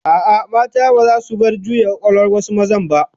A'a, mata baza su bar juya kwakwalwan wasu mazan ba